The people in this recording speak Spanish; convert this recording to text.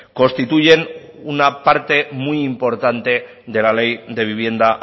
constituyen una parte muy importante de la ley de vivienda